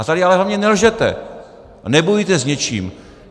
A tady ale hlavně nelžete a nebojujte s něčím.